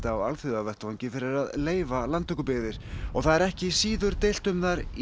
á alþjóðavettvangi fyrir að leyfa landtökubyggðir og það er ekki síður deilt um þær í